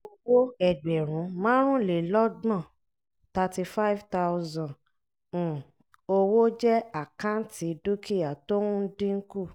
owó ẹgbẹ̀rún márùnlélọ́gbọ̀n[cs[ thirty five thousand um owó jẹ́ àkáǹtì dúkìá tó ń dínkù.